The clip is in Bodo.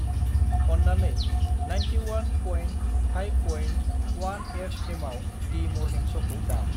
अन्नानै ninety one point five point one F एमाव डि मरनिं श'खौ दाम।